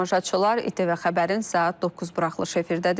İTV Xəbərin saat 9 buraxılışı efirdədir.